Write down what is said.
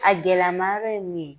A gɛlɛmayɔrɔ ye min ye